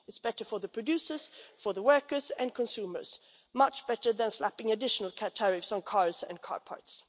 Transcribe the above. It's better for the producers, for the workers and consumers much better than slapping additional tariffs on cars and car parts.